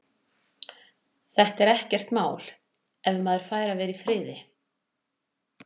Þetta er ekkert mál. ef maður fær að vera í friði.